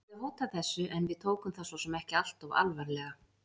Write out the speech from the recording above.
Hann hafði hótað þessu en við tókum það svo sem ekki alltof alvarlega.